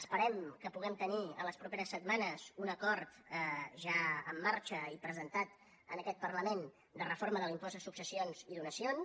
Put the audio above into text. esperem que puguem tenir les properes setmanes un acord ja en marxa i presentat en aquest parlament de reforma de l’impost de successions i donacions